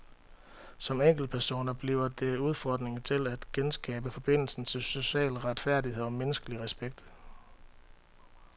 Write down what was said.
Som enkeltpersoner bliver det udfordringen til os at genskabe forbindelsen til social retfærdighed og menneskelig respekt.